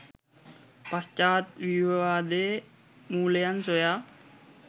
පශ්චාත් ව්‍යූහවාදයේ මූලයන් සොයා